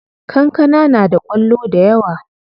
Kankana na da kwallo dayawa.